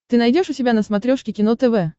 ты найдешь у себя на смотрешке кино тв